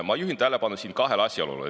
Ma juhin tähelepanu kahele asjaolule.